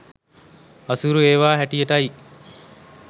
අසීරු ඒවා හැටියටයි.